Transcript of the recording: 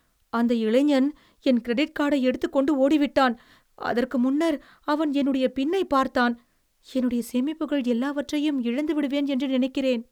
அந்த இளைஞன் என் கிரெடிட் கார்டை எடுத்துக்கொண்டு ஓடிவிட்டான். அதற்கு முன்னர் அவன் என்னுடைய பின்னை பார்த்தான். என்னுடைய சேமிப்புகள் எல்லாவற்றையும் இழந்து விடுவேன் என்று நினைக்கிறேன்.